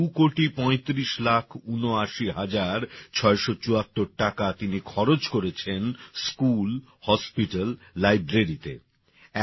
আর এই ২ কোটি পঁয়ত্রিশ লাখ ঊনআশি হাজার ছয়শ চুয়াত্তর টাকা তিনি খরচ করেছেন স্কুল হাসপাতাল লাইব্রেরি তে